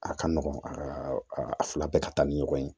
A ka nɔgɔn aa a fila bɛɛ ka taa ni ɲɔgɔn ye